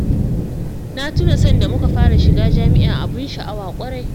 Na tuna sanda muka fara shiga jami'a abin sha'awa ƙwarai